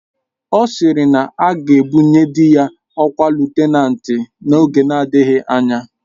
Ọ sịrị na aga ebunye dị ya ọkwa lutenanti n'oge na-adịghị anya